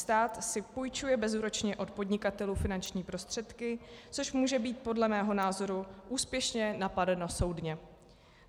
Stát si půjčuje bezúročně od podnikatelů finanční prostředky, což může být podle mého názoru úspěšně napadeno soudně.